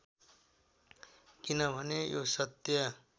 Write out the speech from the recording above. किनभने यो सत्य